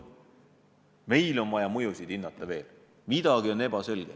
Meil on vaja veel mõjusid hinnata, midagi on ebaselge.